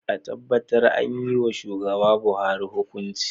A tabbatar an yiwa shugaba Buhari hukunci.